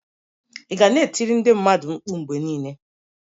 Ị ga na-e tiri ndị mmadụ mkpu mgbe niile?